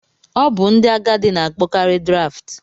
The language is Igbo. Ọ bụ ndị agadi na-akpọkarị Draft.